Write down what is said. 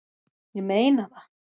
Ég meina það!